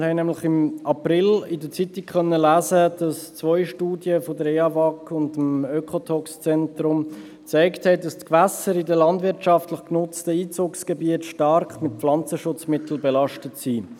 Wir haben nämlich im April in der Zeitung lesen können, dass zwei Studien des Wasserforschungsinstituts des ETH-Bereichs (Eawag) und des Oekotoxzentrums gezeigt haben, dass die Gewässer in landwirtschaftlich genutztem Gebiet stark mit Pflanzenschutzmitteln belastet sind.